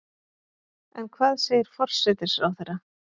En hvað segir forsætisráðherra?